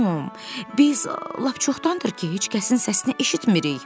Tom, biz lap çoxdandır ki, heç kəsin səsini eşitmiri.